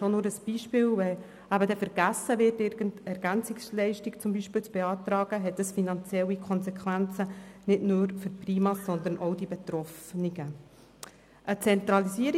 Ein Beispiel: Wenn vergessen wird, Ergänzungsleistung (EL) zu beantragen, hat das nicht nur für die PriMa, sondern auch für die Betroffenen finanzielle Konsequenzen.